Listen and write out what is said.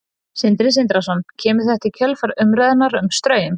Sindri Sindrason: Kemur þetta í kjölfar umræðunnar um Straum?